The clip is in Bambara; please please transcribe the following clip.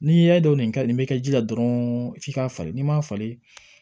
N'i y'a dɔn nin kaɲi nin bɛ kɛ ji la dɔrɔn f'i k'a falen n'i m'a falen